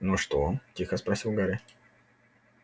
ну что тихо спросил гарри